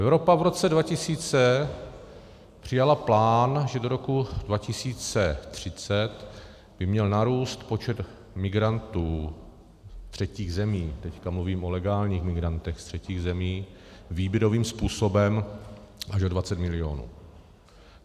Evropa v roce 2000 přijala plán, že do roku 2030 by měl narůst počet migrantů z třetích zemí, teď mluvím o legálních migrantech z třetích zemí, výběrovým způsobem až o 20 milionů.